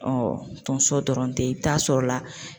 tonso dɔrɔn tɛ i bi taa sɔrɔ la